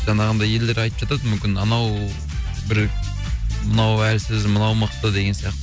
жаңағындай елдер айтып жатады мүмкін анау бір мынау әлсіз мынау мықты деген сияқты